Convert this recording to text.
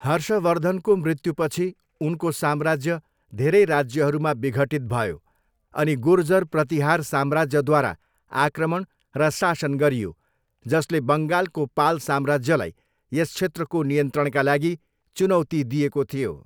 हर्षवर्धनको मृत्युपछि उनको साम्राज्य धेरै राज्यहरूमा विघटित भयो अनि गुर्जर प्रतिहार साम्राज्यद्वारा आक्रमण र शासन गरियो, जसले बङ्गालको पाल साम्राज्यलाई यस क्षेत्रको नियन्त्रणका लागि चुनौती दिएको थियो।